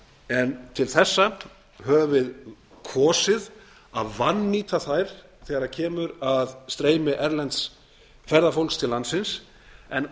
en til þessa höfum við kosið að vannýta þær þegar kemur að streymi erlends ferðafólks til landsins en